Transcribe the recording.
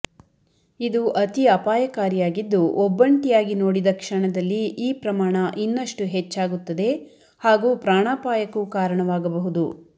ಇದು ಅತಿ ಅಪಾಯಕಾರಿಯಾಗಿದ್ದು ಒಬ್ಬಂಟಿಯಾಗಿ ನೋಡಿದ ಕ್ಷಣದಲ್ಲಿ ಈ ಪ್ರಮಾಣ ಇನ್ನಷ್ಟು ಹೆಚ್ಚಾಗುತ್ತದೆ ಹಾಗೂ ಪ್ರಾಣಾಪಾಯಕ್ಕೂ ಕಾರಣವಾಗಬಹುದು